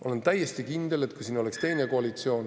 Olen täiesti kindel, et kui siin oleks teine koalitsioon …